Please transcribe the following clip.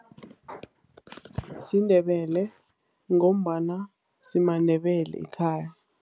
SiNdebele ngombana simaNdebele ekhaya.